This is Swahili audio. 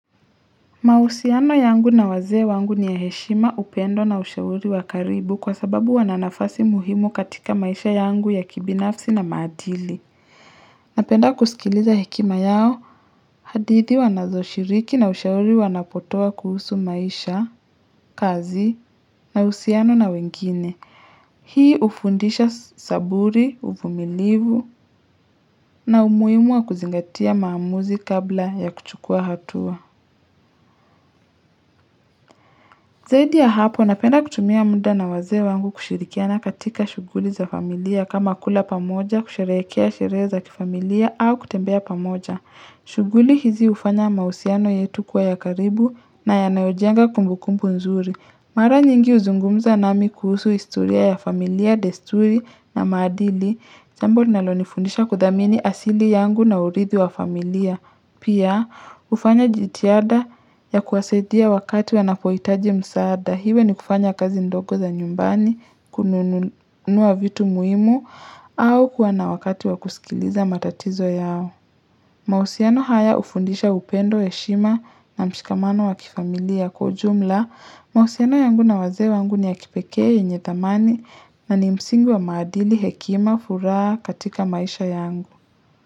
Mahusiano yangu na wazee wangu ni ya heshima upendo na ushauri wakaribu kwa sababu wananafasi muhimu katika maisha yangu ya kibinafsi na maadili. Napenda kusikiliza hekima yao, hadidhi wanazo shiriki na ushauri wanapotoa kuhusu maisha, kazi, na uhusiano na wengine. Hii hufundisha saburi, uvumilivu na umuhim wa kuzingatia maamuzi kabla ya kuchukua hatua. Zaidi ya hapo, napenda kutumia muda na wazee wangu kushirikiana katika shughuli za familia kama kula pamoja, kusherehekea, sherehe za kifamilia, au kutembea pamoja. Shughuli hizi hufanya mahusiano yetu kuwa ya karibu na yanayojenga kumbu kumbu nzuri. Mara nyingi huzungumza nami kuhusu historia ya familia, desturi na maadili, jambo nalonifundisha kudhamini asili yangu na uridhi wa familia. Pia hufanya jitihada ya kuwasadia wakati wanapohitaji msaada. Iwe ni kufanya kazi ndogo za nyumbani, kununua vitu muhimu, au kuwana wakati wakusikiliza matatizo yao. Mahusiano haya hufundisha upendo heshima na mshikamano wakifamilia kwa ujumla. Maausiano yangu na wazee wangu ni ya kipekee yenye thamani na ni msingi wa maadili hekima furaha katika maisha yangu.